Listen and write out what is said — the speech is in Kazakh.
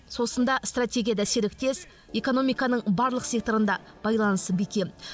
сосын да стратегияда серіктес экономиканың барлық секторында байланысы бекем